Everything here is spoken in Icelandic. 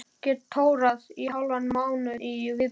Get tórað í hálfan mánuð í viðbót.